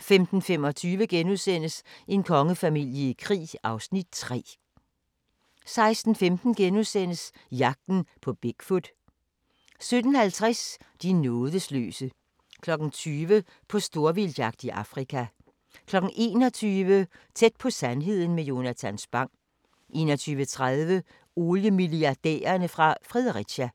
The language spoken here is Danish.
15:25: En kongefamilie i krig (Afs. 3)* 16:15: Jagten på Bigfoot * 17:50: De nådesløse 20:00: På storvildtsjagt i Afrika 21:00: Tæt på sandheden med Jonatan Spang 21:30: Oliemilliardærerne fra Fredericia